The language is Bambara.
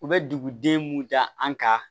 U bɛ duguden mun da an kan